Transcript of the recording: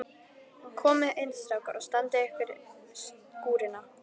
En komiði inn strákar og standið af ykkur skúrina.